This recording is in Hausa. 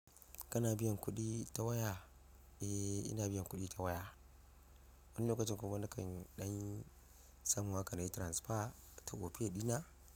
Kana biyan kuɗi ta waya? Eh, ina biyan kuɗi ta waya, wani lokacin kuma nikan ɗan samu haka na yi transfer ta opay ɗina.